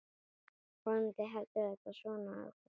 Vonandi heldur þetta svona áfram.